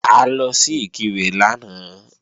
A lọ sí Ìkirè lánàá